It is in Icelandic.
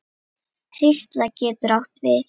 Hrísla getur átt við